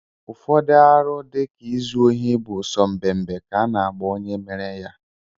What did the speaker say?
Ụfọdụ arụ dịka izu ohi bụ so mbembe ka a na-agba onye mere ya